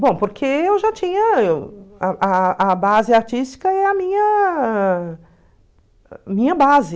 Bom, porque eu já tinha... eu... A a a a base artística é a minha minha base.